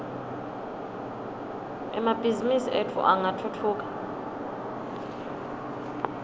emabhizimisi etfu angatfutfuka